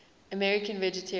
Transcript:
american vegetarians